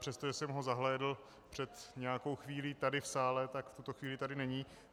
Přestože jsem ho zahlédl před nějakou chvílí tady v sále, tak v tuto chvíli tady není.